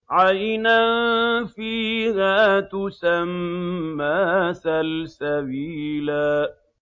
عَيْنًا فِيهَا تُسَمَّىٰ سَلْسَبِيلًا